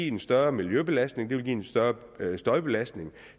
en større miljøbelastning og en større støjbelastning og